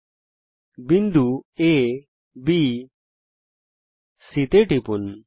পরিধির উপর বিন্দু আ B এবং C তে টিপুন